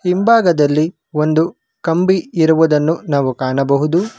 ಹಿಂಭಾಗದಲ್ಲಿ ಒಂದು ಕಂಬಿ ಇರುವುದನ್ನು ನಾವು ಕಾಣಬಹುದು.